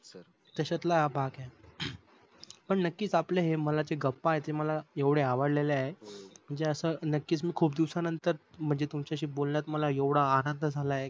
तशातला हा भाग आहे. पण नक्कीच या मनातल्या गप्पा आहे मला आवडल्या आहे म्हणजे नक्कीच मी खूप दिवसानंतर म्हणजे तुमच्याशी बोलायला एवढा आनंद झालाय कि